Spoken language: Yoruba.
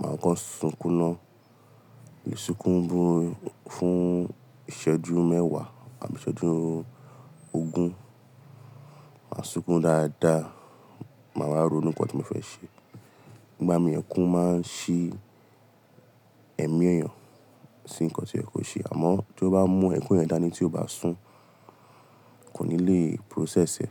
màá kán sunkún ná. Isunkún fún, fún ìṣẹ́jú mẹ́wàá àbí ìṣẹ́jú ogún, màá sunkún dáadáa, màá wáa ronu nǹkan tí mo fẹ́ ṣe. Igba mi ẹkún máa n ṣí ẹ̀mí èèyàn sí nǹkan to yẹ ko ṣe àmọ́ tí ó bá mú ẹkún yẹn dání tí ó bá sùn, kò ní lè process ẹ̀